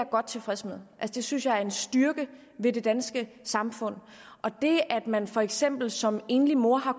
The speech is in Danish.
godt tilfreds med det synes jeg er en styrke ved det danske samfund og det at man for eksempel som enlig mor har